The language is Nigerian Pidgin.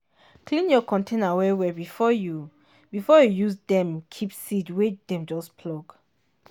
clean your container well well before you before you use dem keep seed wey dem just pluck.